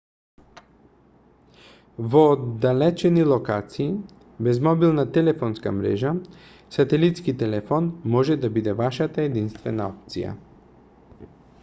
во оддалечени локации без мобилна телефонска мрежа сателитски телефон може да биде вашата единствена опција